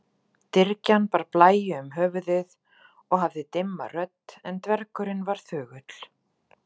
Dyrgjan bar blæju um höfuðið og hafði dimma rödd en dvergurinn var þögull.